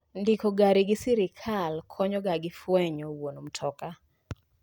Ndiko gari gi sirkal konyo ga gi fwenyo wuon mtoka.